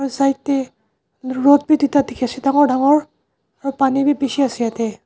side deh rod bi duita dikhi ase dangor dangor aro paani bi bishi ase yete.